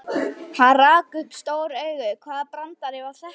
Hann rak upp stór augu, hvaða brandari var þetta?